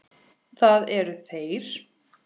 Það eru þeir.